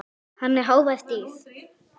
Hann er hávært dýr.